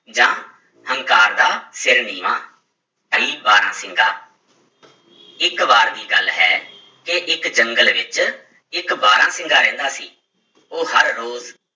ਜਾਂ ਹੰਕਾਰ ਦਾ ਸਿਰ ਨੀਵਾਂ ਬਾਰਾਂਸਿੰਗਾ ਇੱਕ ਵਾਰ ਦੀ ਗੱਲ ਹੈ ਕਿ ਇੱਕ ਜੰਗਲ ਵਿੱਚ ਇੱਕ ਬਾਰਾਂਸਿੰਗਾ ਰਹਿੰਦਾ ਸੀ, ਉਹ ਹਰ ਰੋਜ਼